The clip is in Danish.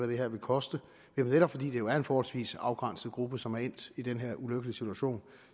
det her vil koste netop fordi det jo er en forholdsvis afgrænset gruppe som er endt i den her ulykkelige situation